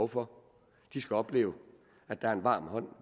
for de skal opleve at der er en varm hånd